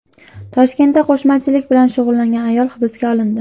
Toshkentda qo‘shmachilik bilan shug‘ullangan ayol hibsga olindi.